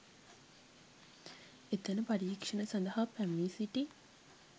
එතැන පරීක්ෂණ සඳහා පැමිණි සිටි